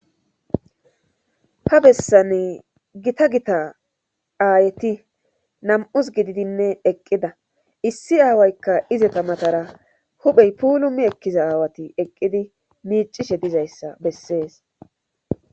Ha bessan gita gita aayeti nam7us gididinne eqqida issi aawaykka izeta matara huphey puulumi ekkiza aawati eqqidi miicishe dizayssa bessees.